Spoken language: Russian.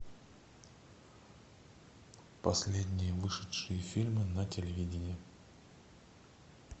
последние вышедшие фильмы на телевидении